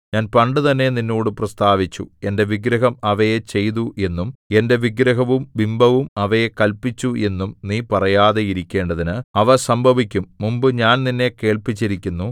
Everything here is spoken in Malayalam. ഞാൻ പണ്ടുതന്നെ നിന്നോട് പ്രസ്താവിച്ചു എന്റെ വിഗ്രഹം അവയെ ചെയ്തു എന്നും എന്റെ വിഗ്രഹവും ബിംബവും അവയെ കല്പിച്ചു എന്നും നീ പറയാതെ ഇരിക്കേണ്ടതിന് അവ സംഭവിക്കും മുമ്പ് ഞാൻ നിന്നെ കേൾപ്പിച്ചിരിക്കുന്നു